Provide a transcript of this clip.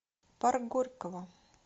парк горького